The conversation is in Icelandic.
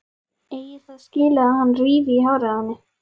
Eigi það skilið að hann rífi í hárið á henni.